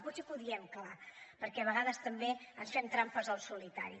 potser que ho diem clar perquè a vegades també ens fem trampes al solitari